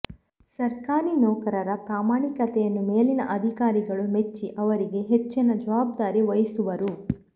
ಸರ್ಕಾರಿ ನೌಕರರ ಪ್ರಾಮಾಣಿಕತೆಯನ್ನು ಮೇಲಿನ ಅಧಿಕಾರಿಗಳು ಮೆಚ್ಚಿ ಅವರಿಗೆ ಹೆಚ್ಚಿನ ಜವಾಬ್ದಾರಿ ವಹಿಸುವರು